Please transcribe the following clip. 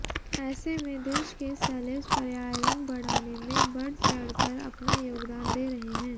ऐसे में देश के सेलेब्स पर्यायरण बढ़ाने में बढ़चढ़ कर अपना योगदान दे रहे हैं